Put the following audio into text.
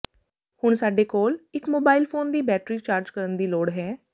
ਹੁਣ ਸਾਡੇ ਕੋਲ ਇੱਕ ਮੋਬਾਈਲ ਫੋਨ ਦੀ ਬੈਟਰੀ ਚਾਰਜ ਕਰਨ ਦੀ ਲੋੜ ਹੈ